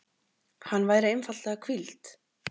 Hann væri einfaldlega hvíld.